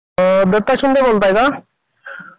Hello Pratap sir बोलतात का ?